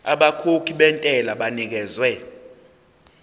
abakhokhi bentela banikezwa